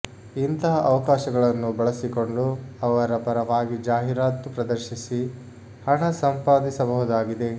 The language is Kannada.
ಇಂಥ ಅವಕಾಶಗಳನ್ನು ಬಲಸಿಕೊಂಡು ಅವರ ಪರವಾಗಿ ಜಾಹೀರಾತು ಪ್ರದರ್ಶಿಸಿ ಹಣ ಸಂಪಾದಿಸಬಹುದಾಗಿದೆ